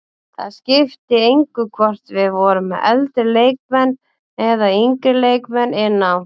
Það skipti engu hvort við vorum með eldri leikmenn eða yngri leikmenn inn á.